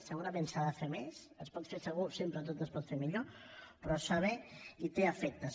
segurament s’hi ha de fer més es pot fer segur sempre tot es pot fer millor però es fa bé i té efectes